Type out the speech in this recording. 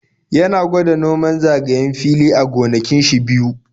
Ya na gwada noman zagayen fili a gonakin shi biyu.